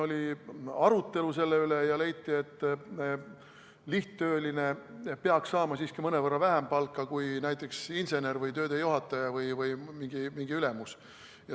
Oli arutelu selle üle ja leiti, et lihttööline peaks saama siiski mõnevõrra vähem palka kui näiteks insener või töödejuhataja või mingi ülemus.